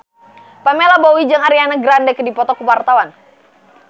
Pamela Bowie jeung Ariana Grande keur dipoto ku wartawan